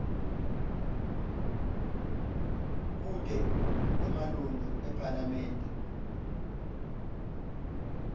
kute emalunga ephalamende